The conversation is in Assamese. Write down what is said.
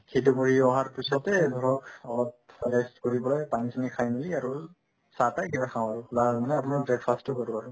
সেইটো কৰি অহাৰ পিছতে ধৰক অলপ rest কৰি পেলাই পানী-চানী খাই মিলি আৰু চাহ-তাহে কিবা খাও আৰু মানে আপোনাৰ breakfast তো হৈ গ'ল আৰু